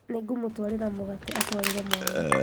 Nĩngũmũtwarĩra mũgate atwarĩre mwana